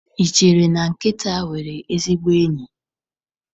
Ị chere na nkịta nwere ezigbo enyi?